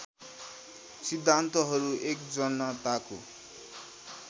सिद्धान्तहरू १ जनताको